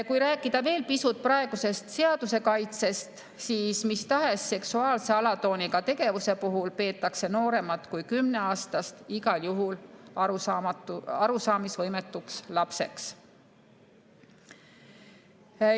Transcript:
Kui rääkida veel pisut praegusest seaduse kaitsest, siis mis tahes seksuaalse alatooniga tegevuse puhul peetakse nooremat kui kümneaastast igal juhul arusaamisvõimetuks lapseks.